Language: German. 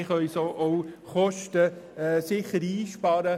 So können wir sicher Kosten einsparen.